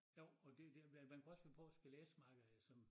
Jo og det det man kunne også finde på at spille esmakker eller sådan